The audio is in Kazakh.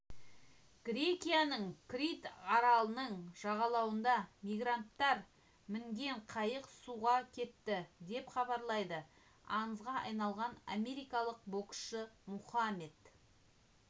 грекияның крит аралының жағалауында мигранттар мінген қайық суға кетті деп хабарлады аңызға айналған америкалық боксшы мұхаммед